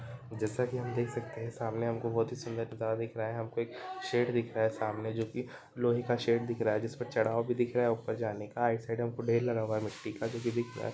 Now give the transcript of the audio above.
जैसा कि हम देख सकते हैं सामने हम को बहोत ही सुंदर नजारा दिख रहा है हमको एक शेड दिख रहा है सामने जो कि लोहे का शेड दिख रहा है जिसपे चड़ाव भी दिख रहा है ऊपर जाने का आइट साइड हमको ढेर लगा हुआ है मिट्टी का जो कि दिख रहा है।